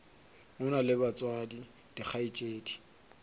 o na le batswadi dikgaetšedi